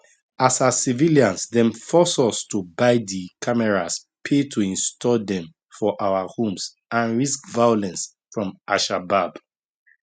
as as civilians dem force us to buy di cameras pay to install dem for our homes and risk violence from alshabaab